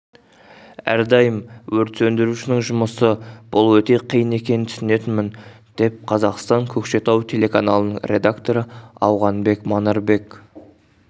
ардайым өрт сөндірушінің жұмысы бұл өте қиын екенін түсінетінмін деп қазақстан көкшетау телеканалының редакторы ауғанбек манарбек